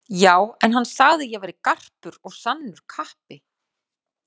Já, en hann sagði að ég væri garpur og sannur kappi